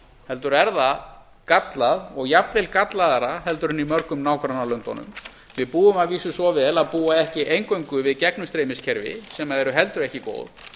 heldur er það gallað og jafnvel gallaðra en í mörgum nágrannalöndunum við búum að vísu svo vel að búa ekki eingöngu við gegnumstreymiskerfi sem eru heldur ekki góð